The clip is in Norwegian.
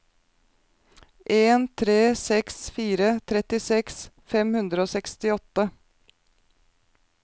en tre seks fire trettiseks fem hundre og sekstiåtte